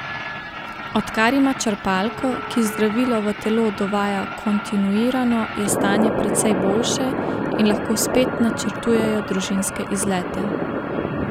Odkar ima črpalko, ki zdravilo v telo dovaja kontinuirano, je stanje precej boljše in lahko spet načrtujejo družinske izlete.